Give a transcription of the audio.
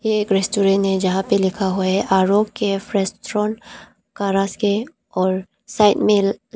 एक रेस्टोरेंट है जहां पे लिखा हुआ है आरो कैफ रेस्टोरेंट करसके और साइड में--